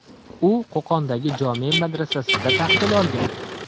U Qo‘qondagi jome’ madrasasida tahsil olgan.